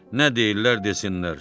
Nə deyirlər, desinlər.